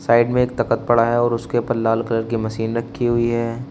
Side में एक तखत पड़ा है और उसके ऊपर लाल कलर की मशीन रखी हुई है।